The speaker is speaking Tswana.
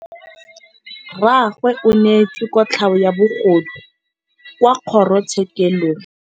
Rragwe o neetswe kotlhaô ya bogodu kwa kgoro tshêkêlông.